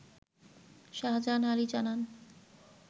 শাহজাহান আলী জানান